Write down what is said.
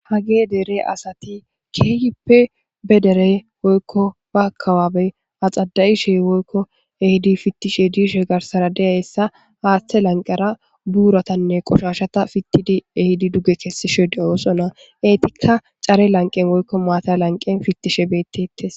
Hagey dere asati kehippe be dere ba aka babe axada'ishe woykon kehidi pitishe dishe garsara hatha lanqera buratane qoshashata pitidi ehidi duge kesishe de'osona etika care lanqen woykon matta lanqen pitishe detes